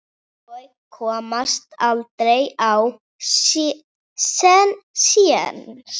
Ég komst aldrei á séns.